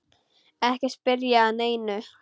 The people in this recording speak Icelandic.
Ekki spyrja að neinu!